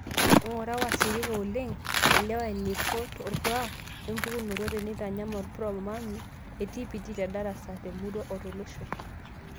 Ing'ura wasirika oleng', elewa eneeiko orkuak wmpukunoto teneitanyamal Prorami e TPD tedarasa, temurua, otolosho.